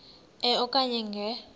e okanye nge